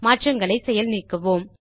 மாற்றங்களை செயல் நீக்குவோம்